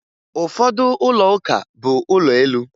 Ụfọdụ ụlọuka bụ ụlọ elu